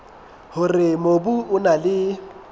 hore mobu o na le